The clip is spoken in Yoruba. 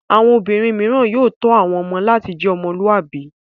Àwọn obìnrin mìíràn yóò tọ́ àwọn ọmọ láti jẹ́ ọmọlúàbí.